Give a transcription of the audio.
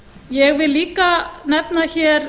ég vil líka nefna hér